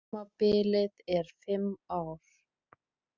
Kjörtímabilið er fimm ár